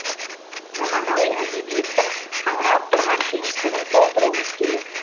заманауи әдебиеттің қаңырап тұрған кеңістігін толтыруымыз керек